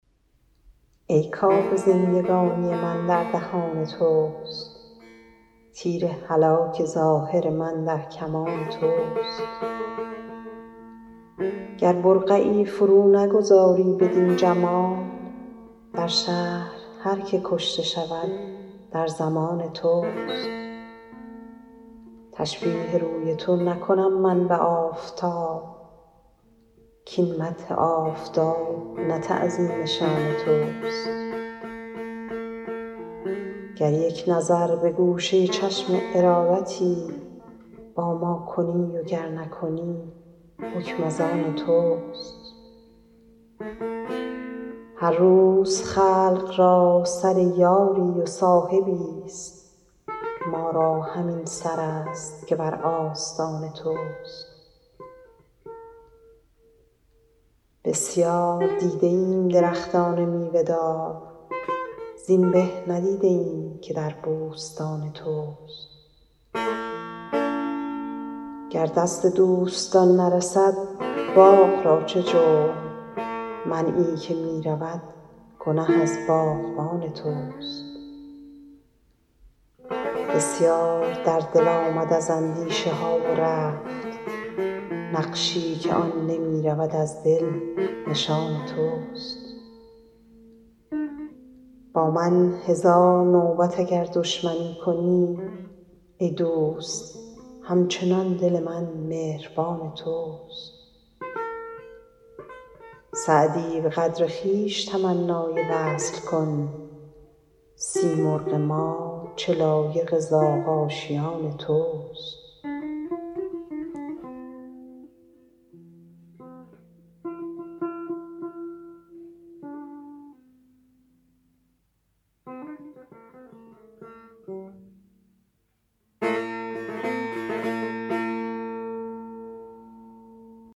ای کآب زندگانی من در دهان توست تیر هلاک ظاهر من در کمان توست گر برقعی فرو نگذاری بدین جمال در شهر هر که کشته شود در ضمان توست تشبیه روی تو نکنم من به آفتاب کاین مدح آفتاب نه تعظیم شان توست گر یک نظر به گوشه چشم ارادتی با ما کنی و گر نکنی حکم از آن توست هر روز خلق را سر یاری و صاحبی ست ما را همین سر است که بر آستان توست بسیار دیده ایم درختان میوه دار زین به ندیده ایم که در بوستان توست گر دست دوستان نرسد باغ را چه جرم منعی که می رود گنه از باغبان توست بسیار در دل آمد از اندیشه ها و رفت نقشی که آن نمی رود از دل نشان توست با من هزار نوبت اگر دشمنی کنی ای دوست هم چنان دل من مهربان توست سعدی به قدر خویش تمنای وصل کن سیمرغ ما چه لایق زاغ آشیان توست